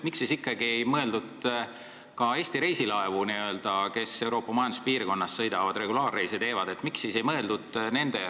Miks ikkagi ei ole sellesse eelnõusse kaasatud Eesti reisilaevad, mis Euroopa Majanduspiirkonnas sõidavad ja regulaarreise teevad?